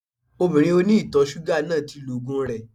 Obìnrin oní ìtọ̀ ṣúgà náà ti lo ògùn rẹ